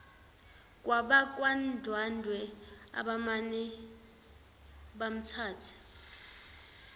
kwabakwandwandwe abamane bamthatha